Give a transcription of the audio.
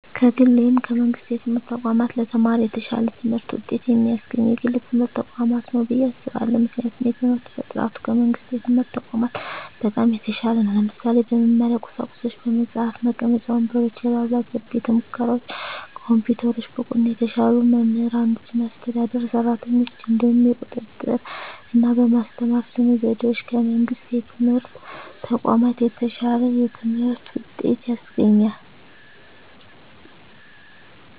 ከግል ወይም ከመንግሥት የትምህርት ተቋማት ለተማሪ የተሻለ ትምህርት ውጤት የሚያስገኘው የግል ትምህርት ተቋማት ነው ብየ አስባለሁ ምክንያቱም የትምህርት በጥራቱ ከመንግስት የትምህርት ተቋማት በጣም የተሻለ ነው ለምሳሌ - በመማሪያ ቁሳቁሶች በመፅሀፍ፣ መቀመጫ ወንበሮች፣ የላብራቶሪ ቤተሙከራዎች፣ ኮምፒውተሮች፣ ብቁና የተሻሉ መምህራኖችና አስተዳደር ሰራተኞች፣ እንዲሁም የቁጥጥ ርና በማስተማር ስነ ዘዴዎች ከመንግስት የትምህርት ተቋማት የተሻለ የትምህርት ውጤት ያስገኛል።